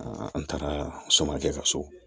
an taara samakɛ ka so